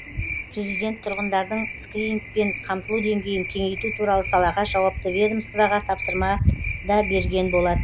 президент тұрғындардың скринингпен қамтылу деңгейін кеңейту туралы салаға жауапты ведомствоға тапсырма да берген болатын